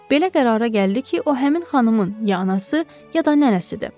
Belə qərara gəldi ki, o həmin xanımın ya anası, ya da nənəsidir.